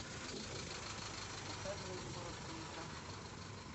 показывай короткометражку